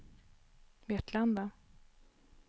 Vetlanda